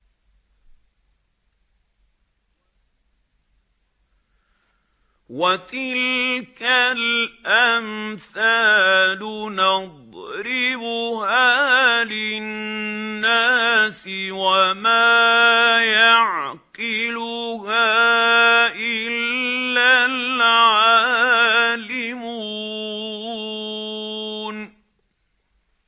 وَتِلْكَ الْأَمْثَالُ نَضْرِبُهَا لِلنَّاسِ ۖ وَمَا يَعْقِلُهَا إِلَّا الْعَالِمُونَ